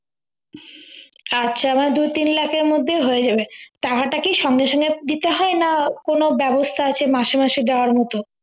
আচ্ছা আমার দুই তিন লাখের মধ্যেই হয়ে যাবে টাকাটা কি সঙ্গে সঙ্গে দিতে হয় না কোন ব্যবস্থা আছে মাসে মাসে দেওয়ার মতো